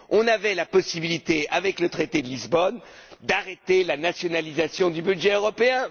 Nous avions la possibilité, avec le traité de Lisbonne, d'arrêter la nationalisation du budget européen.